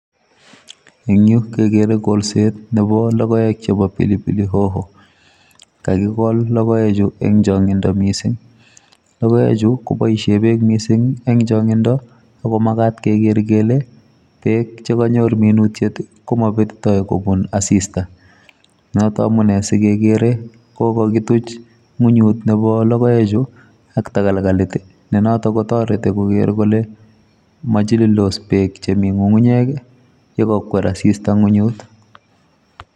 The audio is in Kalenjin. Eng' yuu, kegere golset nebo logoek chebo pilipili hoho. Kakigol logoek chu eng' changindo missing. Logoek chu, koboisie beek missing eng' changindo, ako magat keger kele beek chekanyor minutiet, komabetitoi kobun asista. Notok amunee sigegere kokakituch ng'unyut nebo logoek chu ak tagalgalit, ne notok ko toreti koger kole machilildos beek chemi ng'ung'unyek yegakwer asista ng'unyut.